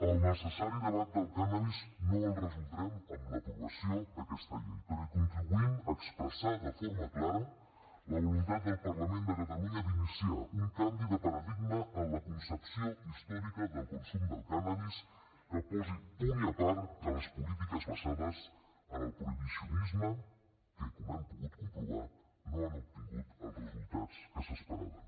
el necessari debat del cànnabis no el resoldrem amb l’aprovació d’aquesta llei però contribuïm a expressar de forma clara la voluntat del parlament de catalunya d’iniciar un canvi de paradigma en la concepció històrica del consum del cànnabis que posi punt i a part a les polítiques basades en el prohibicionisme que com hem pogut comprovar no han obtingut els resultats que s’esperaven